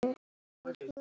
segi ég og gapi.